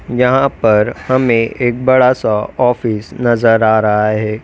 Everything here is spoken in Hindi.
यहां पर हमें एक बड़ा सा ऑफिस नजर आ रहा है।